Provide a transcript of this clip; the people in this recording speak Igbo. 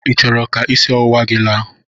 Ị chọrọ ka isi ọwụwa gị laa?